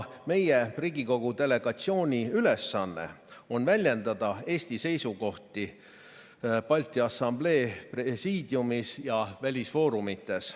Meie Riigikogu delegatsiooni ülesanne on väljendada Eesti seisukohti Balti Assamblee presiidiumis ja välisfoorumites.